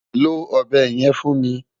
Lo ọ̀bẹ yẹn fún mi!